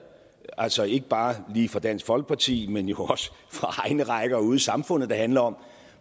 altså ikke bare lige fra dansk folkeparti men jo også fra egne rækker og ude i samfundet der handler om